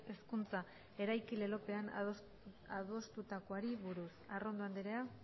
hezkuntza eraiki lelopean adostutakoari buruz arrondo andrea